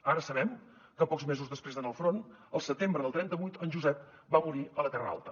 ara sabem que pocs mesos després d’anar al front el setembre del trenta vuit en josep va morir a la terra alta